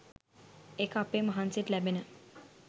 ඒක අපේ මහන්සියට ලැබෙන